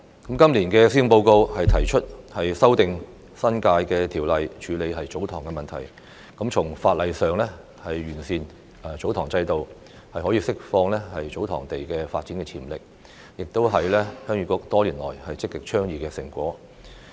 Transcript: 今年的施政報告提出修訂《新界條例》以處理"祖堂"問題，從法例上完善"祖堂"制度，釋放祖堂土地發展潛力，這亦是鄉議局多年來積極倡議的成果。